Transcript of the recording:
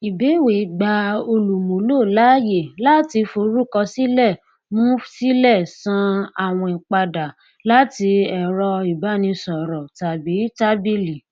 ìbẹwẹ gbà olùmúlò láàyè láti forúkọsílẹ mu sílẹ san àwìn padà láti ẹrọ ìbánisọrọ tàbí tábìlì